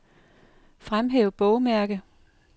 Fremhæv bogmærke.